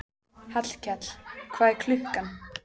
Hallkell, hvað er klukkan?